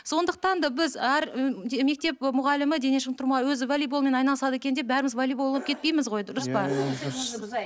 сондықтан да біз әр мектеп мұғалімі дене шынықтыру мұғалімі өзі волейболмен айналысады екен деп бәріміз волейбол болып кетпейміз ғой дұрыс па